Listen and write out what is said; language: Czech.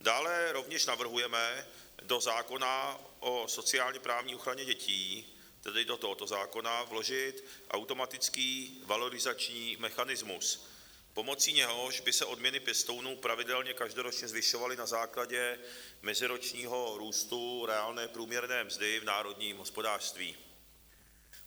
Dále rovněž navrhujeme do zákona o sociálně-právní ochraně dětí, tedy do tohoto zákona, vložit automatický valorizační mechanismus, pomocí něhož by se odměny pěstounů pravidelně každoročně zvyšovaly na základě meziročního růstu reálné průměrné mzdy v národním hospodářství.